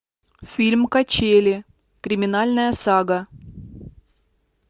фильм качели криминальная сага